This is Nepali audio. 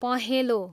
पहेँलो